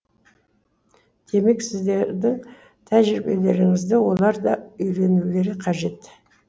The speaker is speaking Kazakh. демек сіздердің тәжірибелеріңізді олар да үйренулері қажет